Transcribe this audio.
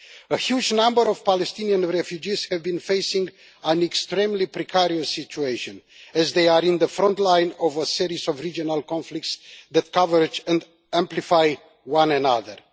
A huge number of Palestinian refugees have been facing an extremely precarious situation, as they are in the front line of a series of regional conflicts that converge and amplify one another.